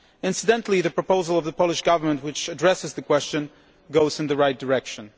Incidentally, the proposal from the Polish Government that addresses the question goes in the right direction.